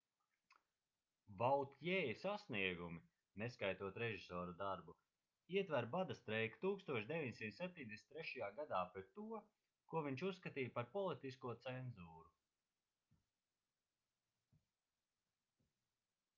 vautjē sasniegumi neskaitot režisora darbu ietver bada streiku 1973. gadā pret to ko viņš uzskatīja par politisko cenzūru